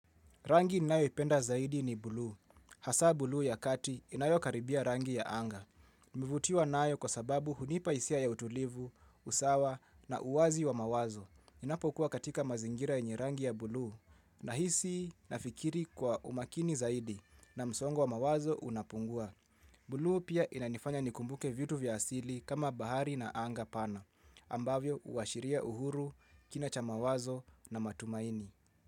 Rangi nayoipenda zaidi ni buluu. Hasaa bulu ya kati inayo karibia rangi ya anga. Huvutiwa nayo kwa sababu hunipa hisia ya utulivu, usawa na uwazi wa mawazo. niInapokuwa katika mazingira yenye rangi ya buluu nahisi nafikiri kwa umakini zaidi na msongo wa mawazo unapungua. Buluu pia inanifanya nikumbuke vitu vya asili kama bahari na anga pana. Ambavyo huashiria uhuru kina cha mawazo na matumaini.